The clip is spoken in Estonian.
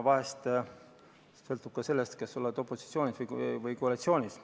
Aga vahel palju sõltub sellest, kas oled opositsioonis või koalitsioonis.